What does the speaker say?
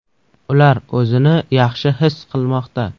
Ular o‘zini yaxshi his qilmoqda.